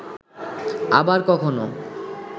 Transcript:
আবার কখনো